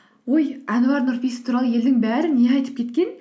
ой әнуар нұрпейісов туралы елдің бәрі не айтып кеткен